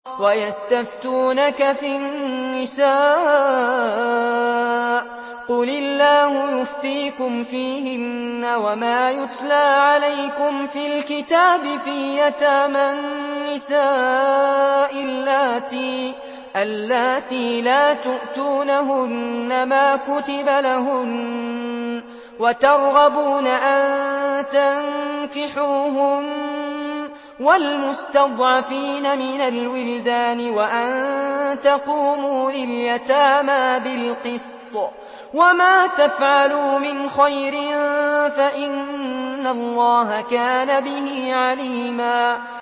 وَيَسْتَفْتُونَكَ فِي النِّسَاءِ ۖ قُلِ اللَّهُ يُفْتِيكُمْ فِيهِنَّ وَمَا يُتْلَىٰ عَلَيْكُمْ فِي الْكِتَابِ فِي يَتَامَى النِّسَاءِ اللَّاتِي لَا تُؤْتُونَهُنَّ مَا كُتِبَ لَهُنَّ وَتَرْغَبُونَ أَن تَنكِحُوهُنَّ وَالْمُسْتَضْعَفِينَ مِنَ الْوِلْدَانِ وَأَن تَقُومُوا لِلْيَتَامَىٰ بِالْقِسْطِ ۚ وَمَا تَفْعَلُوا مِنْ خَيْرٍ فَإِنَّ اللَّهَ كَانَ بِهِ عَلِيمًا